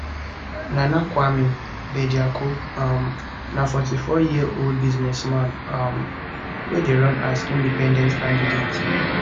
nana kwame bediako um na 44yearold business man um wey dey run as independent candidate